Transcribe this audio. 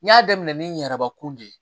N y'a daminɛ ni n yɛrɛbakun de ye